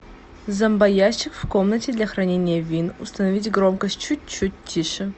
зомбоящик в комнате для хранения вин установить громкость чуть чуть тише